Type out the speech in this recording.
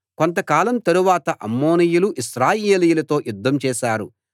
కొంతకాలం తరువాత అమ్మోనీయులు ఇశ్రాయేలీయులతో యుద్ధం చేశారు